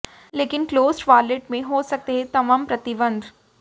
लेकिन closed wallet में हो सकते हैं तमाम प्रतिबंध